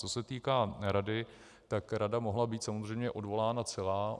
Co se týká rady, tak rada mohla být samozřejmě odvolána celá.